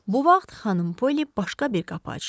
Bu vaxt xanım Poli başqa bir qapı açdı.